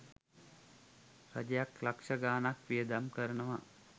රජයක් ලක්ෂ ගානක් වියදම් කරනවා